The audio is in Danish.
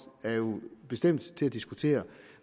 er jo bestemt til at diskutere